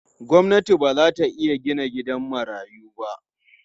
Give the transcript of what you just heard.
Gwamnati ba za ta iya gina gidan marayu ba.